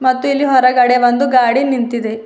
ಮತ್ತು ಇಲ್ಲಿ ಹೊರಗಡೆ ಒಂದು ಗಾಡಿ ನಿಂತಿದೆ.